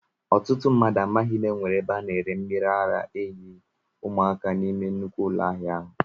Ọtụtụ mmadụ amaghị na enwere ebe a na-ere mmiri ara ehi ụmụaka n'ime nnukwu ụlọ ahịa ahụ